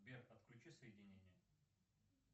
сбер отключи соединение